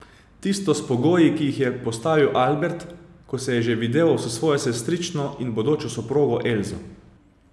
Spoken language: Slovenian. Tisto s pogoji, ki ji jih je postavil Albert, ko se je že videval s svojo sestrično in bodočo soprogo Elso.